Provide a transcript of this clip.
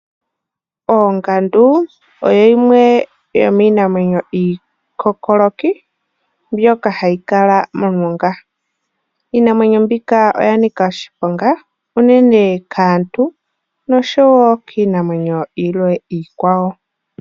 Oongandu oyo yimwe yomwiinamwenyo iikookoloki mbyoka hayi kala momulonga, iinamwenyo mbika oyanika oshiponga unene kaantu noshowo kiinamwenyo ilwe iikwawo